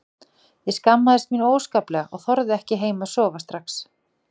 Ég skammaðist mín óskaplega og þorði ekki heim að sofa strax.